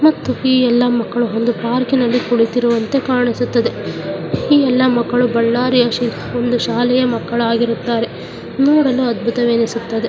ಮತ್ತು ಈ ಎಲ್ಲಾ ಮಕ್ಕಳು ಒಂದು ಪಾರ್ಕಿನಲ್ಲಿ ಕುಳಿತಿರುವಂತೆ ಕಾಣಿಸುತ್ತದೆ ಈ ಎಲ್ಲಾ ಮಕ್ಕಳು ಬಳ್ಳಾರಿಯ ಒಂದು ಶಾಲೆಯ ಮಕ್ಕಳಾಗಿರುತ್ತಾರೆ ನೋಡಲು ಅದ್ಭುತವೆನಿಸುತ್ತದೆ.